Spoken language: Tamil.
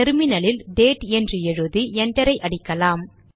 டெர்மினலில் டேட் என்று எழுதி என்டர் அடிக்கலாம்